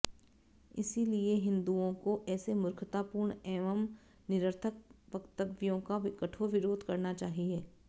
इसलिए हिंदुआें को ऐसे मूर्खतापूर्ण एवं निरर्थक वक्तव्यों का कठोर विरोध करना चाहिए